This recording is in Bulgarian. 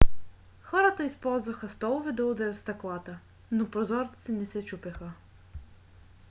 хората използваха столове да удрят стъклата но прозорците не се чупеха